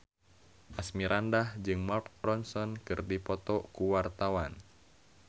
Asmirandah jeung Mark Ronson keur dipoto ku wartawan